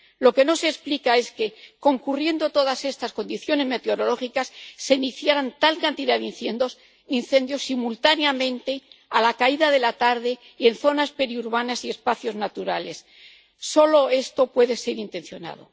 Lo que no se explica es que, concurriendo todas estas condiciones meteorológicas, se iniciaran tal cantidad de incendios simultáneamente, a la caída de la tarde y en zonas periurbanas y espacios naturales esto solo puede ser intencionado.